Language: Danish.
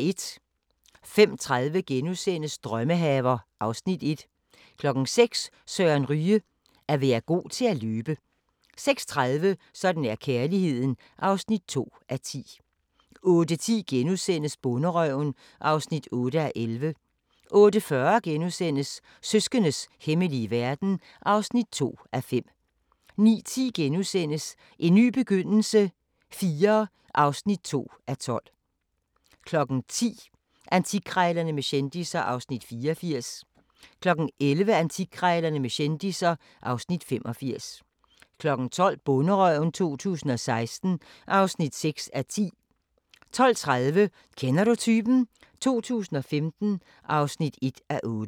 05:30: Drømmehaver (Afs. 1)* 06:00: Søren Ryge: At være god til at løbe 06:30: Sådan er kærligheden (2:10) 08:10: Bonderøven (8:11)* 08:40: Søskendes hemmelige verden (2:5)* 09:10: En ny begyndelse IV (2:12)* 10:00: Antikkrejlerne med kendisser (Afs. 84) 11:00: Antikkrejlerne med kendisser (Afs. 85) 12:00: Bonderøven 2016 (6:10) 12:30: Kender du typen? 2015 (1:8)